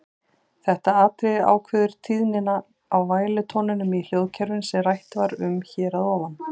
Þetta atriði ákveður tíðnina á vælutóninum í hljóðkerfinu sem rætt var um hér að ofan.